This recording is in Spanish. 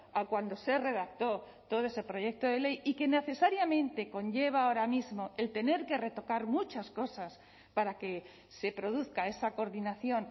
a cuando se redactó todo ese proyecto de ley y que necesariamente conlleva ahora mismo el tener que retocar muchas cosas para que se produzca esa coordinación